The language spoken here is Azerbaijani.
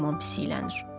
Yaman pis yiyələnir.